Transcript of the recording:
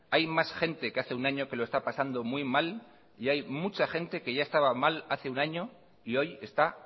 hay más gente que hace un año que lo está pasando muy mal y hay mucha gente que ya estaba mal hace un año y hoy está